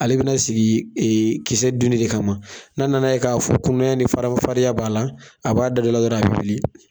Ale bɛna sigi kisɛ dunni de kama, n'a nana ye k'a fɔ kunaya ni faraman farinya b'a la a b'a da don a la a bɛ wili